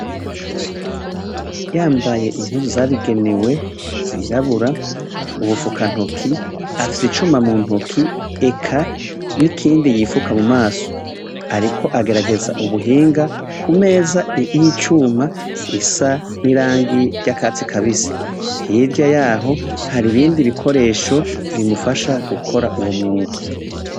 Yambaye impuzu zabigenewe zirabura ubufuka ntoki afise icuma muntoke eka nikindi yifuka mumaso ariko agerageza ubuhinga kumeza yicuma isa nirangi ryakatsi kabisi hiryayaho haribindi bikoresho bimufasha gukora uwomwuga.